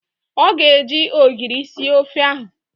Ọ ga-eji ogiri sie ofe ahụ